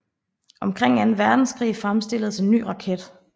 Omkring Anden Verdenskrig fremstilledes en ny raket